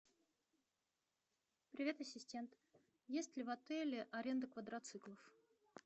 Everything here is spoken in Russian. привет ассистент есть ли в отеле аренда квадроциклов